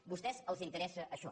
a vostès els interessa això